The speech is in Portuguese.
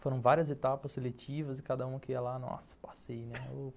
Foram várias etapas seletivas e cada um que ia lá, nossa, passei, né?